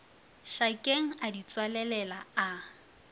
šakeng a di tswalelela a